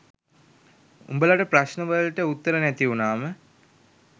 උඹලට ප්‍රශ්න වලට උත්තර නැති වුනාම